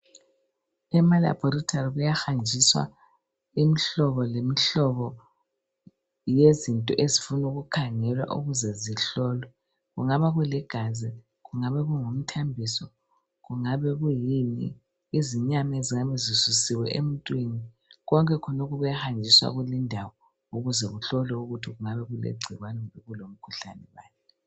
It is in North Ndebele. Emalaboratory kuyahanjiswa imhlobo lemhlobo yezinto ezifuna ukukhangelwa ukuze zihlolwe , kungabakuligazi , okungabe kungumthambiso kungabe kuyini , izinyama ezingabe zisusiwe emuntwini , konke lokhu kuyahanjiswa kulimdawo ukuze kuhlolwe ukuthi kungabe kulegcikwane kumbe kulomkhuhlane bani